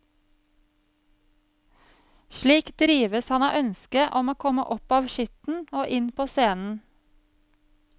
Slik drives han av ønsket om å komme opp av skitten og inn på scenen.